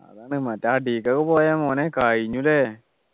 അതാണ് മറ്റേ അടിക്കൊക്കെ പോയാ മോനെ കഴിഞ്ഞു ല്ലേ